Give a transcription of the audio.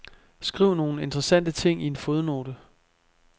Skriv nogle interessante ting i en fodnote.